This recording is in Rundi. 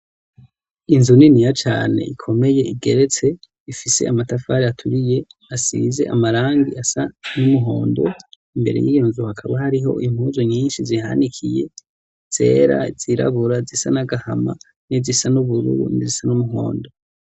inzu niniya cane ikomeye igeretse ifise amatafari aturiye asize amarangi asa n'umuhondo imbere y'iyo nzu hakaba hariho impuzu nyinshi zihanikiye zera zirabura zisa n'agahama n'izisa n'ubururu nzisa n'umuhondo